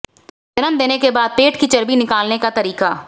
जन्म देने के बाद पेट की चर्बी निकालने का तरीका